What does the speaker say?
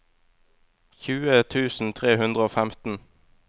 tjue tusen tre hundre og femten